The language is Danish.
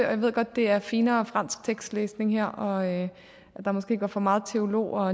at det er finere fransk tekstlæsning her og at der måske går for meget teolog og